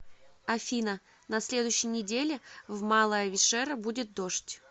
афина на следующей неделе в малая вишера будет дождь